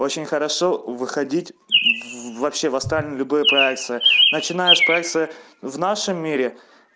очень хорошо выходить вообще в астральные любое проекция начиная с проекции в нашем мире